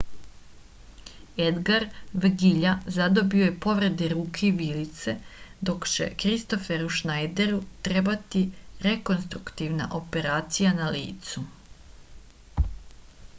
edgar vegilja zadobio je povrede ruke i vilice dok će kristoferu šnajderu trebati rekonstruktivna operacija na licu